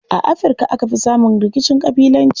A Afirka aka fi samun rikicin ƙabilanci.